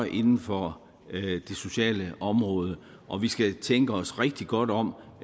inden for det sociale område og vi skal tænke os rigtig godt om